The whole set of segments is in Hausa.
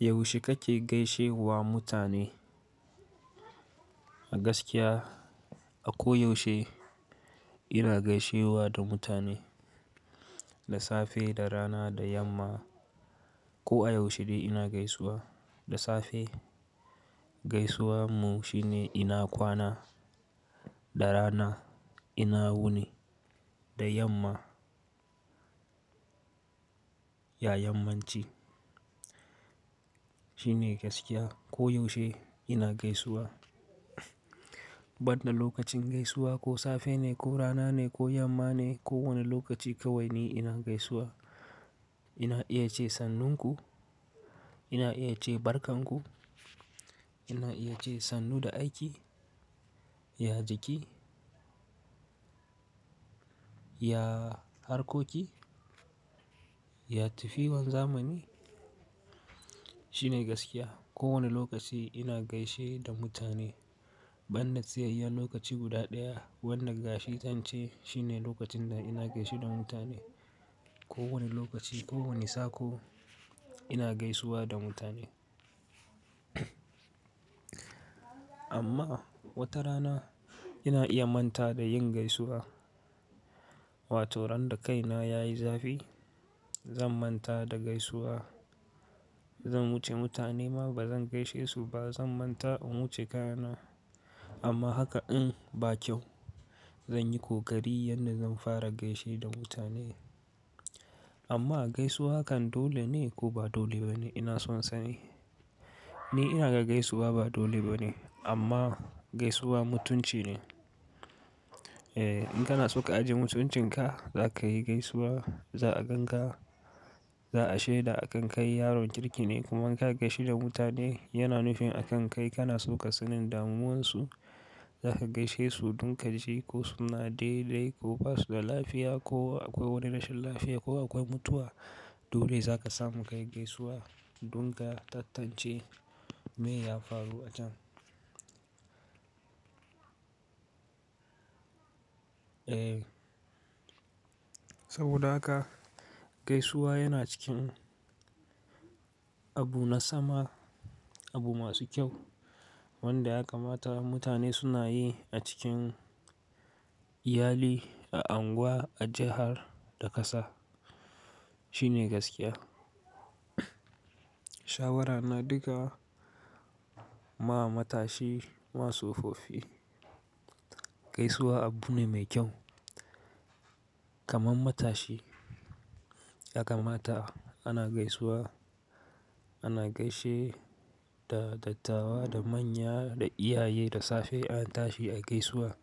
Yaushe kake gaishe wa mutane? A gaskiya a ko yaushe ina gaishewa da mutane, da safe, da rana, da yamma. Ko a yaushe dai ina gaisuwa. Da safe gaisuwarmu shine ina kwana, da rana ina wuni, da yamma ya yammanci. Shi ne gaskiya. Ko yaushe ina gaisuwa. Badda lokacin gaisuwa ko safe ne ko rana ne ko yamma ne ko wane lokaci kawai ni ina gaisuwa. Ina iya ce sannunku, ina iya ce barkanku, ina iya ce sannu da aiki, ya jiki, ya harkoki, ya tafiwan zamani. Shi ne gaskiya. Ko wane lokaci ina gaishe da mutane. Badda tsayayyen lokaci guda ɗaya wanda ga shi tance shine lokacin da ina gaishe da mutane. Ko wane lokaci, ko wane sako ina gaisuwa da mutane. Amma wata rana ina iya manta da yin gaisuwa. Wato ran da kaina yayi zafi zan manta da gaisuwa. Zan wuce mutane ma bazan gaishe su ba zan manta in wuce kayana. Amma haka in ba kyau. Zan yi kokari yadda zan fara gaishe da mutane. Amma gaisuwa kan dole ne ko ba dole ba ne? Ina son sani. Ni ina ga gaisuwa ba dole ba ne amma gaisuwa mutunci ne. Eh in kana so ka ajiye mutuncinka za ka yi gaisuwa. Za a gan ka, za a shaida a kan kai yaron kirki ne kuma in ka gaishe da mutane yana nufin a kan kai kana so ka sanin damuwansu. Za ka gaishe su don ka ji ko suna dai dai ko basu da lafiya ko akwai wani rashin lafiya ko akwai mutuwa. Dole za ka samu kai gaisuwa don ka tattance me ya faru a can. Eh saboda haka gaisuwa yana cikin abu na sama, abu masu kyau wanda ya kamata mutane suna yi a cikin iyali, a unguwa, a jihar da ƙasa. Shi ne gaskiya. Shawarana duka ma matashi masu sofofi gaisuwa abu ne mai kyau. Kaman matashi ya kamata ana gaisuwa. Ana gaishe da dattawa, da manya, da iyaye, da safe an tashi a gaisuwa.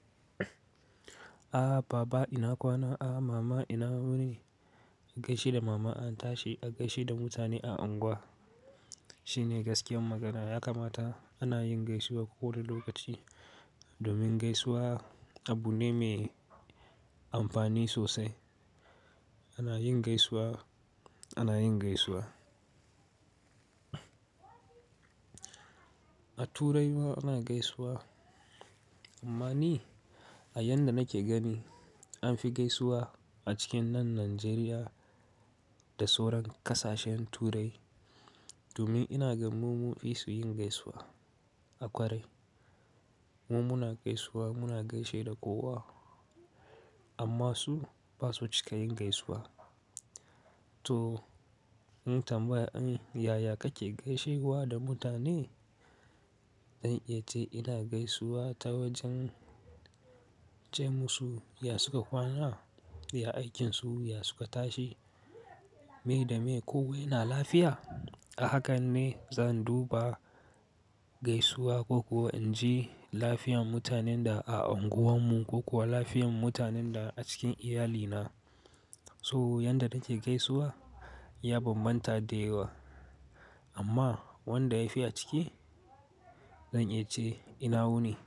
A baba ina kwana, a mama ina wuni. An gaishe da mama an tashi, an gaishe da mutane a unguwa. Shi ne gaskiyar magana. Ya kamata ana yin gaisuwa ko wane lokaci domin gaisuwa abu ne me amfani sosai. Ana yin gaisuwa, ana yin gaisuwa. A turai ma ana gaisuwa. Amma ni a yanda nake gani an fi gaisuwa a cikin nan Najeriya da sauran ƙasashen Turai domin ina gan mu mu fi su yin gaisuwa a kwarai. Mu muna gaisuwa muna gaishe da kowa amma su basu cika yin gaisuwa. To in tambayi in yaya kake gaishe wa da mutane? Zan iya ce ina gaisuwa ta wajen ce musu ya suka kwana? Ya aikinsu? Ya suka tashi? Me da me? Ko wa yana lafiya? A hakan ne zan duba gaisuwa ko kuwa in ji lafiyan mutanen da a unguwarmu ko kuwa lafiyan mutanen da a cikin iyalina. So yanda nake gaisuwa ya bambanta da yawa amma wanda yafi aciki zan iya ce ina wuni.